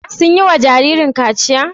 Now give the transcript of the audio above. Sun yi wa jaririn kachiya?